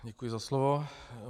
Děkuji za slovo.